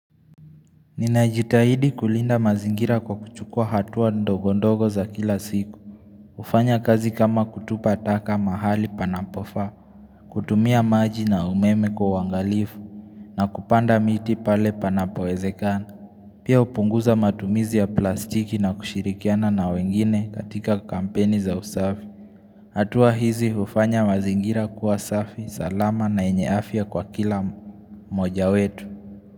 Ninajitahidi kulinda mazingira kwa kuchukua hatua ndogondogo za kila siku. Kufanya kazi kama kutupa taka mahali panapofa. Kutumia maji na umeme kwa wangalifu. Na kupanda miti pale panapowezekana. Pia upunguza matumizi ya plastiki na kushirikiana na wengine katika kampeni za usafi. Hatua hizi hufanya mazingira kuwa safi, salama na yenye afya kwa kila mmoja wetu.